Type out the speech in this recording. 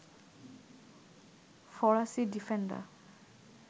ফরাসি ডিফেন্ডার